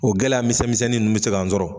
O gɛlɛya misɛn misɛnin nunnu bɛ se kan sɔrɔ.